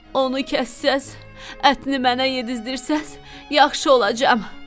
Onu kəssəz, ətini mənə yedizdirsəz, yaxşı olacam."